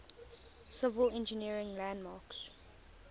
civil engineering landmarks